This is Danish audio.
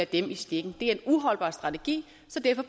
dem i stikken det er en uholdbar strategi så derfor